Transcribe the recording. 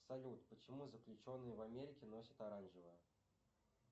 салют почему заключенные в америке носят оранжевое